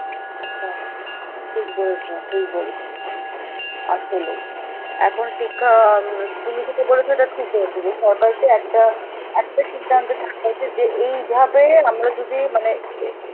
আচ্ছা, ঠিক বলেছ, ঠিক বলেছ আসলে. এখন শিক্ষা আ উম, তুমি যেটা বলেছ ওইটা ঠিক বলেছ যে সরকারকে একটা~ একটা সিদ্ধান্ত ভাবে উচিত যে এইভাবে আমরা যদি মানে এ